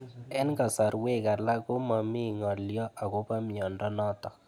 Eng'kasarwek alak ko mami ng'alyo akopo miondo notok